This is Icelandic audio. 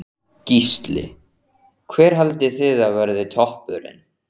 Gísli: Hver haldið þið að verði toppurinn?